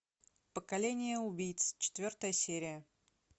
поколение убийц четвертая серия